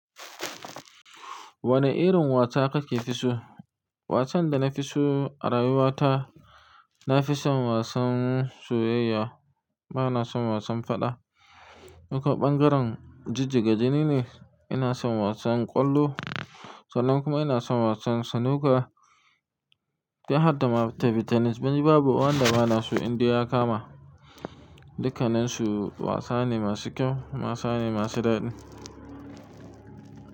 Wane irin wasa kake fi so? Wasan da na fi so a rayuwa ta, na fi son wasan soyayya. Ba na son wasan faɗa. Nuka ɓangaren jijjiga jini ne. Ina son wasan ƙwallo, sannan kuma ina son wasan snooker. Ga harda ma ta fitinis, babu wanda ba na so in dai ya kama. Dukkanansu wasanni masu kyau, wasanni masu daɗi.